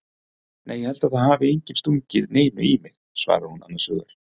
Nei ég held að það hafi enginn stungið neinu í mig, svarar hún annars hugar.